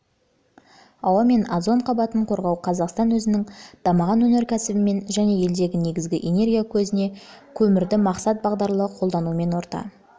ауа мен озон қабатын қорғау қазақстан өзінің дамыған өнеркәсібімен және елдегі негізгі энергия көзі ретінде көмірді мақсат-бағдарлы қолдануымен орта